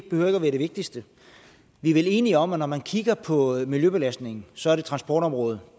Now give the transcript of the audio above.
være det vigtigste vi er vel enige om at når man kigger på miljøbelastningen så er det transportområdet